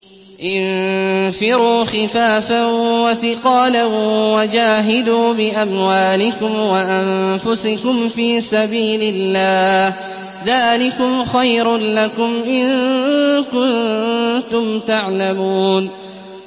انفِرُوا خِفَافًا وَثِقَالًا وَجَاهِدُوا بِأَمْوَالِكُمْ وَأَنفُسِكُمْ فِي سَبِيلِ اللَّهِ ۚ ذَٰلِكُمْ خَيْرٌ لَّكُمْ إِن كُنتُمْ تَعْلَمُونَ